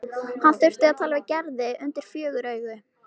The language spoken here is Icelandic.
Hann þurfti að tala við Gerði undir fjögur augu.